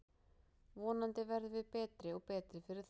Vonandi verðum við betri og betri fyrir þá.